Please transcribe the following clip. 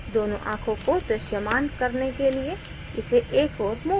दोनों आंखों को दृश्यमान करने के लिए इसे एक ओर move करें